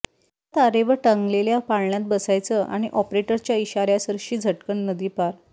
एका तारेवर टांगलेल्या पाळण्यात बसायचं आणि ऑपरेटरच्या इशाऱ्यासरशी झटकन नदी पार